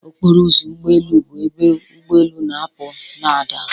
Ọkpọrọ ụzọ ụgbọ elụ bụ ebe ụgbọ elu na-apụ na ada.